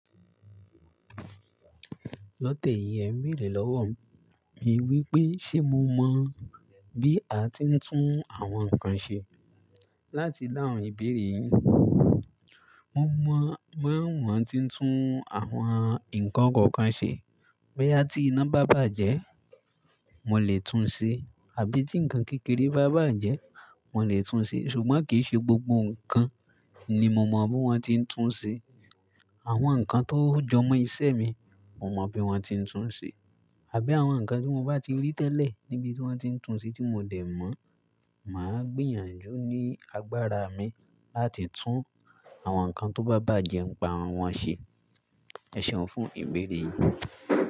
Lọ́tẹ́ yìí ẹ ń béèrè lọ́wọ́ mi wípé ṣé mo mọ bí a tí ń tún àwọn nǹkan ṣe. Láti dáhùn ìbéèrè yìí, mo mọ bí wón ti ń tún àwọn nǹkan kọ̀ọ̀kan ṣe. Boya tí iná bá bàjẹ́, mo lè tún un ṣe àbí tí nǹkan kékeré bá bàjẹ́, mo lè tún ú ṣe ṣùgbọ́n kì í ṣe gbogbo nǹkan ni mo mọ bí wón ti ń tún ṣe. Àwọn nǹkan tó jọ mọ́ iṣẹ́ mi, mo mọ bí wón ti ń tún ṣe àbí àwọn nǹkan tí mo bá ti rí tẹ́lẹ̀ níbi tí wón ti ń tún ṣe tí mo dẹ̀ mọ̀, màá gbìyànjú ní agbára mi láti tún àwọn nǹkan tó bá bàjẹ́ nipa wọ́n ṣe. Ẹ̀ ṣeun fún ìbéèrè yìí.